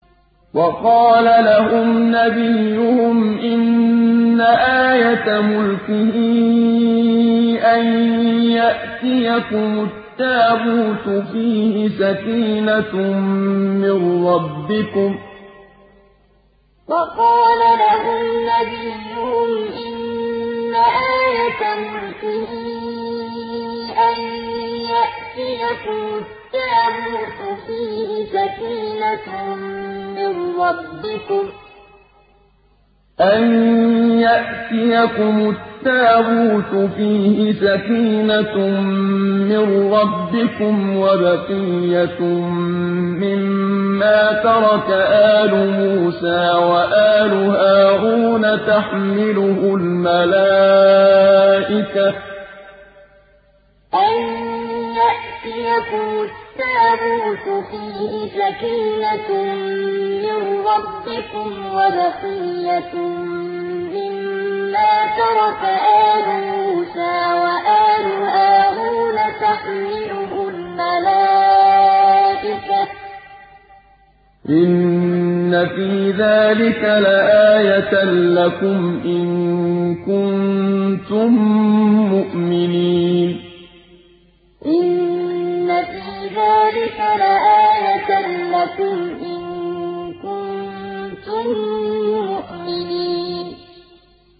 وَقَالَ لَهُمْ نَبِيُّهُمْ إِنَّ آيَةَ مُلْكِهِ أَن يَأْتِيَكُمُ التَّابُوتُ فِيهِ سَكِينَةٌ مِّن رَّبِّكُمْ وَبَقِيَّةٌ مِّمَّا تَرَكَ آلُ مُوسَىٰ وَآلُ هَارُونَ تَحْمِلُهُ الْمَلَائِكَةُ ۚ إِنَّ فِي ذَٰلِكَ لَآيَةً لَّكُمْ إِن كُنتُم مُّؤْمِنِينَ وَقَالَ لَهُمْ نَبِيُّهُمْ إِنَّ آيَةَ مُلْكِهِ أَن يَأْتِيَكُمُ التَّابُوتُ فِيهِ سَكِينَةٌ مِّن رَّبِّكُمْ وَبَقِيَّةٌ مِّمَّا تَرَكَ آلُ مُوسَىٰ وَآلُ هَارُونَ تَحْمِلُهُ الْمَلَائِكَةُ ۚ إِنَّ فِي ذَٰلِكَ لَآيَةً لَّكُمْ إِن كُنتُم مُّؤْمِنِينَ